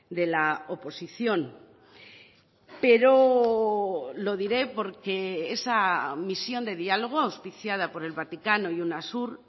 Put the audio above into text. de la oposición pero lo diré porque esa misión de diálogo auspiciada por el vaticano y unasur